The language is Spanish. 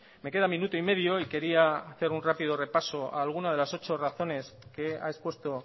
me queda minuto y medio y quería hacer un rápido repaso a alguna de las ocho razones que ha expuesto